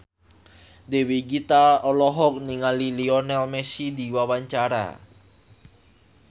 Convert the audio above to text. Dewi Gita olohok ningali Lionel Messi keur diwawancara